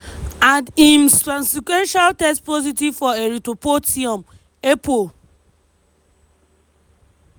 and im subsequently test positive for erythropoietin (epo).